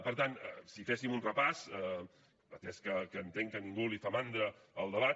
per tant si féssim un repàs atès que entenc que a ningú li fa mandra el debat